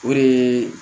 O de ye